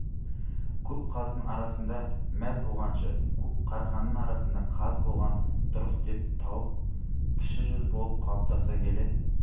көп қаздың арасында мәз болғанша көп қарғаның арасында қаз болған дұрыс деп тауып кіші жүз болып қалыптасып келе